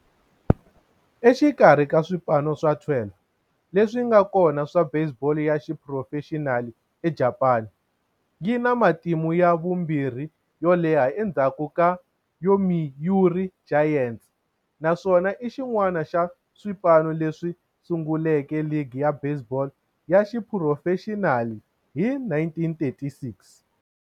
Exikarhi ka swipano swa 12 leswi nga kona swa baseball ya xiphurofexinali eJapani, yi na matimu ya vumbirhi yo leha endzhaku ka Yomiuri Giants, naswona i xin'wana xa swipano leswi sunguleke ligi ya baseball ya xiphurofexinali hi 1936.